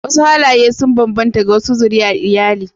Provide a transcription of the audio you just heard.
Wasu halaye sun bambanta ga wasu zuriyar iyali